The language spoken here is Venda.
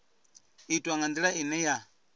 itwa nga ndila ine ya